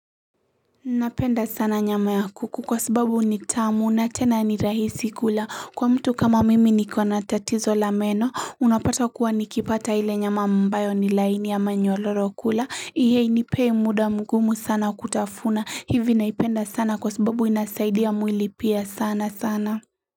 Napenda sana nyama ya kuku kwa sababu ni tamu na tena ni rahisi kula kwa mtu kama mimi niko na tatizo la meno unapata kuwa nikipata ile nyama ambayo ni laini ama nyororo kula ihinipei muda mgumu sana kutafuna hivi naipenda sana kwa sababu inasaidia mwili pia sana sana.